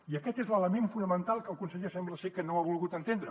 i aquest és l’element fonamental que el conseller sembla ser que no ha volgut entendre